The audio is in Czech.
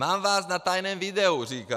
Mám vás na tajném videu, říká.